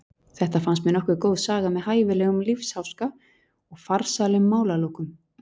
Þetta fannst mér nokkuð góð saga með hæfilegum lífsháska og farsælum málalokum.